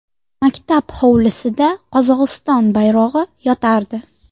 Maktab hovlisida Qozog‘iston bayrog‘i yotardi.